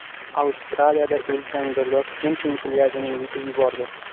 Avstraliyada ulkan girdob kemping plyajini yutib yubordi.